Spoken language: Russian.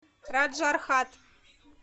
раджархат